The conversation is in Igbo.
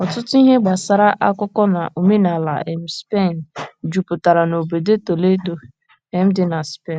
Ọtụtụ ihe gbasara akụkọ na omenala um Spen jupụtara n’obodo Toledo um dị na Spen.